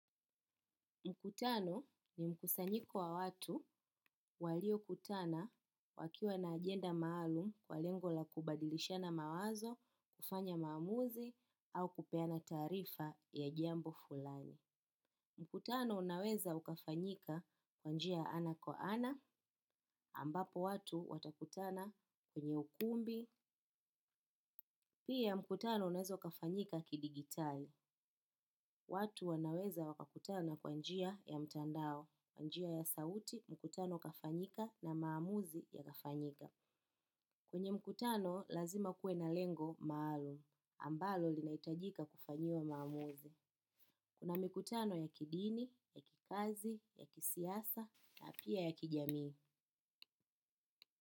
Mkutano ni mkusanyiko wa watu waliokutana wakiwa na agenda maalum kwa lengo la kubadilishana mawazo, kufanya maamuzi, au kupeana taarifa ya jembo fulani. Mkutano unaweza ukafanyika kwa njia ana kwa ana, ambapo watu watakutana kwenye ukumbi. Pia mkutano uaeza kafanyika kidigitali. Watu wanaweza wakakutana kwa njia ya mtandao, kwa njia ya sauti, mkutano ukafanyika na maamuzi yakafanyika. Kwenye mkutano lazima kue na lengo maalum. Ambalo linaitajika kufanyiwa maamuzi. Kuna mkutano ya kidini, ya kikazi, ya kisiasa, ya pia ya kijamii.